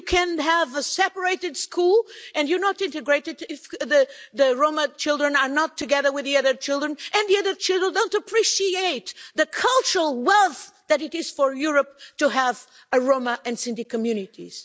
You can have a separated school and you're not integrated if the Roma children are not together with the other children and the other children don't appreciate the cultural wealth that it is for Europe to have Roma and Sinti communities.